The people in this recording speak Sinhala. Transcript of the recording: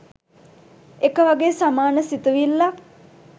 එකවගේ සමාන සිතිවිල්ලක්.